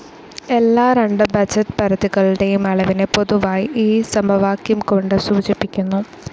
എല്ലാ രണ്ട് ബഡ്ജറ്റ്‌ പരിധികളുടെയും അളവിനെ പൊതുവായി ഈ സമവാക്യം കൊണ്ട് സൂചിപ്പിക്കുന്നു.